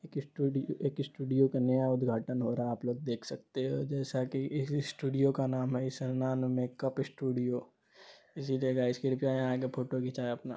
एक स्टूडियो एक स्टूडियों का नया उद्घाटन हो रहा है आप लोग देख सकते हो जैसा की इस स्टूडियों का नाम है इशाना मेकअप स्टूडियों इसी जगह फोटो घिचा है अपना--